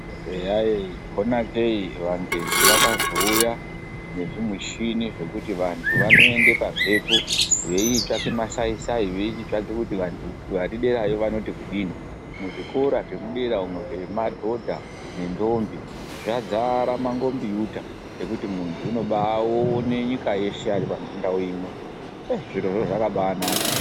Eya yee phonakeyi vangezi vakazouya nezvimishini zvekuti vantu vanoende pamphepo veichitsvake masai-sai veichitsvake kuti vantu vari derayo vanoti kudini. Muzvikora zvemudera umwo zvekadhodha nendombi, zvadzara mangombiyuta ekuti muntu unobaaone nyika yeshe ari pandau imwe, yee zvirozvo zvakabaanaka.